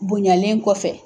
Bonyalen kɔfɛ